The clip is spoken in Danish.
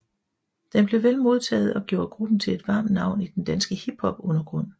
Den blev vel modtaget og gjorde gruppen til et varmt navn i den danske hiphopundergrund